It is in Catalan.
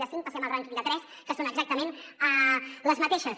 i de cinc passem al rànquing de tres que són exactament les mateixes